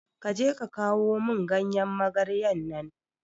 Kaje ka kawo mun ganyan magarya nan